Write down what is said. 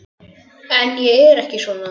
En ég er ekki svona.